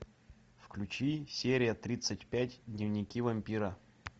включи серия тридцать пять дневники вампира